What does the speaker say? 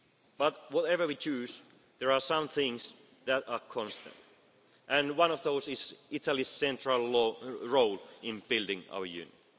today. But, whatever we choose, there are some things that are constant and one of those is Italy's central role in building